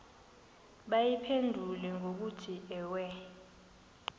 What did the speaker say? bayiphendule ngokuthi ewe